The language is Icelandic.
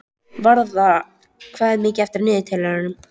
Varða, hvað er mikið eftir af niðurteljaranum?